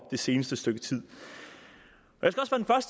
det seneste stykke tid